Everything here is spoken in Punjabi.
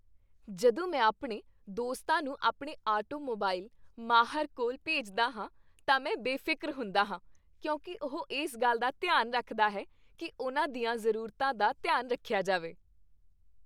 ਜਦੋਂ ਮੈਂ ਆਪਣੇ ਦੋਸਤਾਂ ਨੂੰ ਆਪਣੇ ਆਟੋਮੋਬਾਈਲ ਮਾਹਰ ਕੋਲ ਭੇਜਦਾ ਹਾਂ ਤਾਂ ਮੈਂ ਬੇਫ਼ਿਕਰ ਹੁੰਦਾ ਹਾਂ ਕਿਉਂਕਿ ਉਹ ਇਸ ਗੱਲ ਦਾ ਧਿਆਨ ਰੱਖਦਾ ਹੈ ਕਿ ਉਨ੍ਹਾਂ ਦੀਆਂ ਜ਼ਰੂਰਤਾਂ ਦਾ ਧਿਆਨ ਰੱਖਿਆ ਜਾਵੇ।